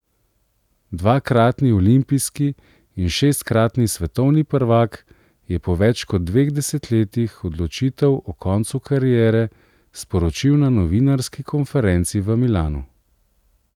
Dvakratni olimpijski in šestkratni svetovni prvak je po več kot dveh desetletjih odločitev o koncu kariere sporočil na novinarski konferenci v Milanu.